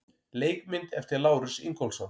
Leikmynd eftir Lárus Ingólfsson.